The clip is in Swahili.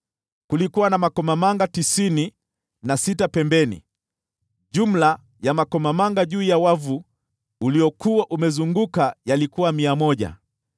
Kulikuwa na makomamanga tisini na sita pembeni; jumla ya makomamanga juu ya wavu uliokuwa umezunguka yalikuwa mia moja.